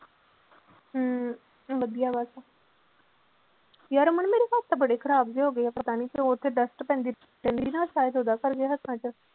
ਹਮ ਵਧੀਆ ਬਸ ਯਾਰ ਅਮਨ ਮੇਰੇ ਹੱਥ ਤਾਂ ਬੜੇ ਖ਼ਰਾਬ ਜਿਹੇ ਹੋ ਗਏ ਆ ਪਤਾ ਨੀ ਕਿਉਂ ਉਹ ਤੇ dust ਪੈਂਦੀ ਹੱਥਾਂ ਚ